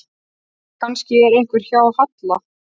Kannski var eitthvað að hjá Halla?